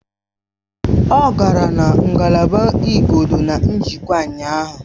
Ọ gara na ngalaba igodo na njikwa ụnyaahụ